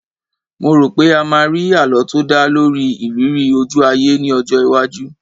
Mo rò pé a máa rí àlọ́ tó dá lórí ìrírí ojú-ayé ní ọjọ́ iwájú